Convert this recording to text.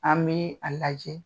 An bi a lajɛ